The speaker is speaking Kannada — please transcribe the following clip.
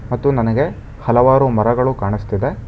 ಮತ್ತು ನನಗೆ ಹಲವಾರು ಮರಗಳು ಕಾಣಸ್ತಿದೆ.